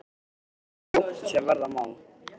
Og svo fljótt sem verða má.